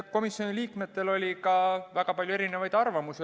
Komisjoni liikmetel oli väga palju erinevaid arvamusi.